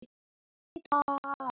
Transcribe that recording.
En stefnan heldur ekki vatni.